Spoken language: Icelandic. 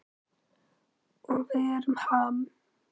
Og við erum Ham.